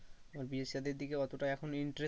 আমার বিয়ে সাধির দিকে অতটা এখন intest